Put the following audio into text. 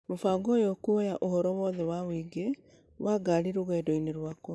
Mũbango ũyũ ũkuoya ũhoro wothe wa ũingĩ wa ngari rũgendo-inĩ rwakwa